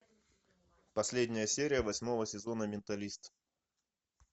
последняя серия восьмого сезона менталист